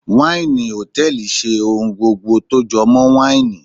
waini hòtẹ́ẹ̀lì ṣe ohun gbogbo jọmọ waini.